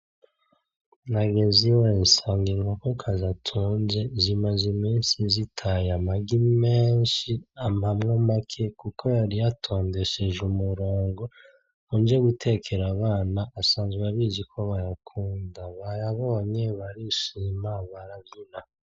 Nageze iwe nsanga inkokokazi atunze zimaze iminsi zitaye amagi menshi ampamwo make kuko yari yatondesheje umurongo ngo nje gutekera abana asanzwe abizi ko bayakunda. bayabonye barishima baravyina.